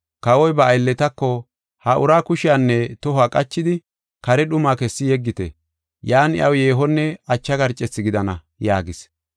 “Kawoy ba aylletako, ‘Ha uraa kushiyanne tohuwa qachidi, kare dhumaa kessi yeggite. Yan iyaw yeehonne acha garcethi gidana’ yaagis.